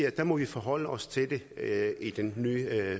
at der må vi forholde os til den nye